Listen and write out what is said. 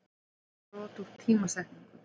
eða brot úr tímasetningu.